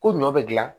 Ko ɲɔ bɛ dilan